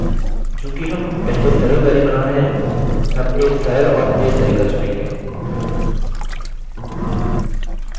चूँकि हम पहले सरल query बना रहे हैं हम एक सरल और तेज़ तरीका चुनेंगे